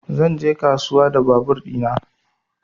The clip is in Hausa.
Zan je kasuwa da babur ɗina